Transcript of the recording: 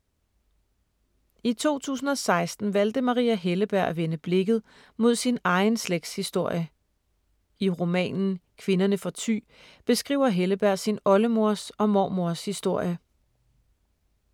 I 2016 valgte Maria Helleberg at vende blikket mod sin egen slægtshistorie. I romanen Kvinderne fra Thy beskriver Helleberg sin oldemors og mormors historie.